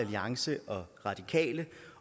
uanset